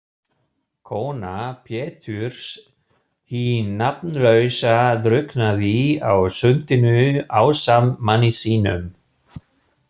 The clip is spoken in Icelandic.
Kona Péturs hin nafnlausa drukknaði á sundinu ásamt manni sínum.